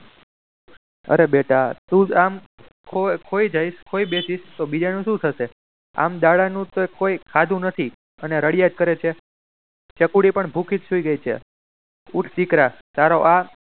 બેટા તું જામ ખોઈ જઈશ ખોવાઈ બેસીસ તો બીજાનું શું થશે? આમ દાદાનુ કોઈ કંઈ ખાધું નથી અને રડ્યા જ કરે છે ચકુડી પણ ભૂખી જ સુઈ ગઈ છે.